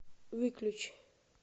выключи